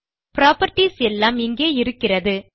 properties எல்லாம் இங்கே இருக்கிறது